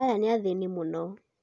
Aya nĩathĩni mũno